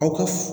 Aw ka